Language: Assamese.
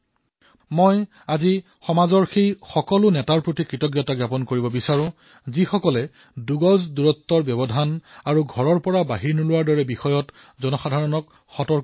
মই আজি সমাজৰ নেতাসকলৰ প্ৰতিও কৃতজ্ঞতা প্ৰকাশ কৰিছো যিয়ে দুই গজ দূৰত্ব আৰু ঘৰৰ পৰা বাহিৰলৈ নোলাবলৈ সজাগতা প্ৰদান কৰি আছে